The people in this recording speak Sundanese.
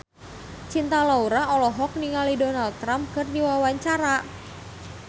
Cinta Laura olohok ningali Donald Trump keur diwawancara